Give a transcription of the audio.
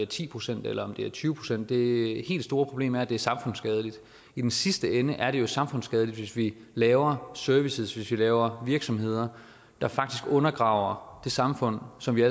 ti procent eller tyve procent det helt store problem er at det er samfundsskadeligt i den sidste ende er det jo samfundsskadeligt hvis vi laver services hvis vi laver virksomheder der faktisk undergraver det samfund som vi